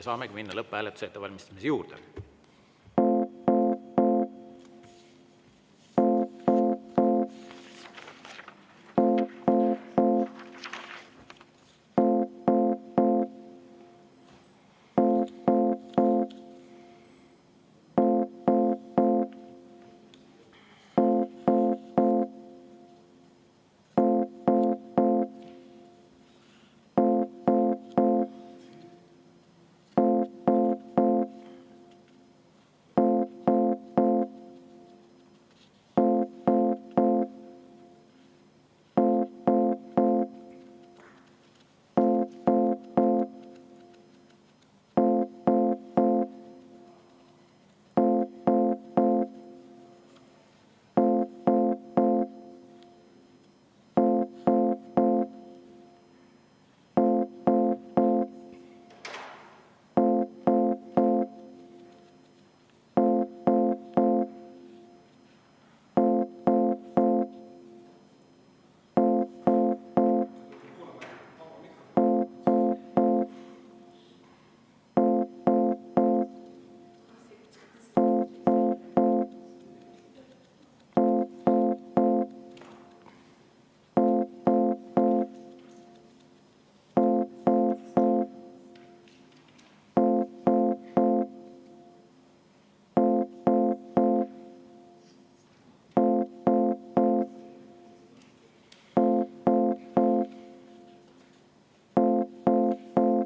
Saamegi minna lõpphääletuse ettevalmistamise juurde.